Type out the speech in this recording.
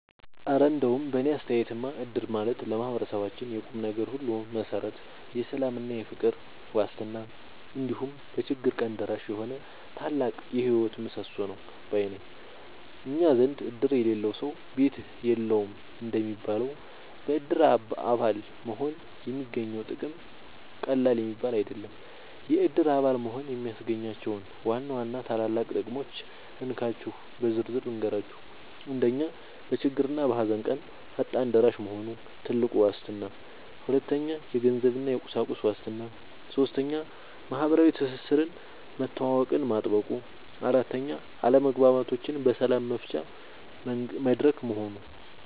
እረ እንደው በእኔ አስተያየትማ እድር ማለት ለማህበረሰባችን የቁምነገር ሁሉ መሠረት፣ የሰላምና የፍቅር ዋስትና፣ እንዲሁም በችግር ቀን ደራሽ የሆነ ታላቅ የህይወት ምሰሶ ነው ባይ ነኝ! እኛ ዘንድ "እድር የሌለው ሰው ቤት የለውም" እንደሚባለው፣ በእድር አባል መሆን የሚገኘው ጥቅም ቀላል የሚባል አይደለም። የእድር አባል መሆን የሚያስገኛቸውን ዋና ዋና ታላላቅ ጥቅሞች እንካችሁ በዝርዝር ልንገራችሁ፦ 1. በችግርና በሃዘን ቀን ፈጣን ደራሽ መሆኑ (ትልቁ ዋስትና) 2. የገንዘብና የቁሳቁስ ዋስትና 3. ማህበራዊ ትስስርና መተዋወቅን ማጥበቁ 4. አለመግባባቶችን በሰላም መፍቻ መድረክ መሆኑ